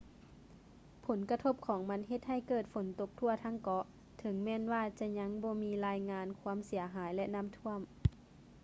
ຜົນກະທົບຂອງມັນເຮັດໃຫ້ເກີດຝົນຕົກທົ່ວທັງເກາະ ເຖິງແມ່ນວ່າຈະຍັງບໍ່ມີລາຍງາຍຄວາມເສຍຫາຍ ແລະ ນ້ຳຖ້ວມ